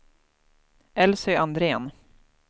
Elsy Andrén